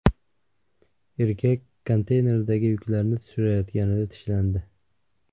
Erkak konteynerdagi yuklarni tushirayotganida tishlandi.